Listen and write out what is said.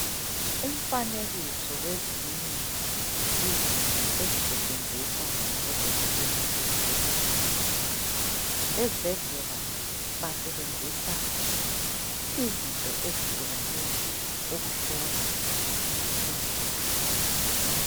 Umfanekiso wezinye izinto ezisetshenziswa ngabodokotela ezibhedlela. Ezibhedlela basebenzisa izinto ezihlukaneyo ukuhlola izigulane.